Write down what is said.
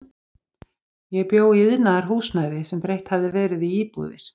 Ég bjó í iðnaðarhúsnæði sem breytt hafði verið í íbúðir.